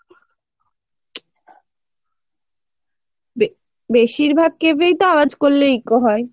বে বেশিরভাগ cave এই তো আওজ করলে eco হয়।